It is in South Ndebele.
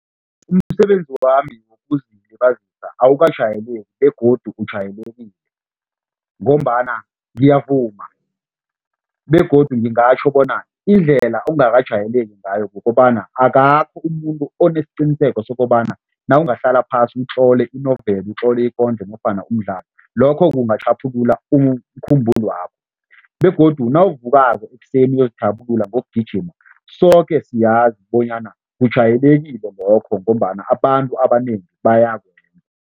Umsebenzi wami wokuzilibazisa awukajayeleki begodu ujayelekile ngombana ngiyavuma begodu ngingatjho bona indlela ongakajayeleki ngayo kukobana akakho umuntu onesiqiniseko sokobana nawungahlala phasi utlole inoveli, utlole ikondlo nofana umdlalo, lokho kungatjhaphulula umkhumbulwakho begodu nawuvukako ekuseni uzithabulula ngokugijima, soke siyazi bonyana kujwayeleke lokho ngombana abantu abanengi bayakwenza.